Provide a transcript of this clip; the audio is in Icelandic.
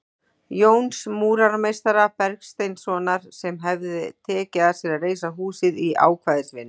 Jóns múrarameistara Bergsteinssonar, sem hefir tekið að sér að reisa húsið í ákvæðisvinnu.